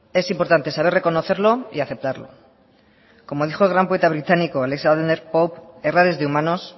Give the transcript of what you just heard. es importante saber reconocerlo y aceptarlo como dijo el gran poeta británico alexander pope errar es de humanos